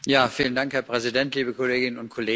Herr Präsident, liebe Kolleginnen und Kollegen!